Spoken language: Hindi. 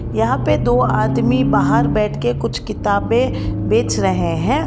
यहां पे दो आदमी बाहर बैठके कुछ किताबें बेच रहे है।